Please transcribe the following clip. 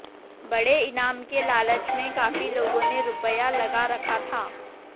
बड़े इनाम के लालच में काफी लोगों ने रुपया लगा रखा था